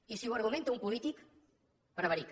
i si ho argumenta un polític prevarica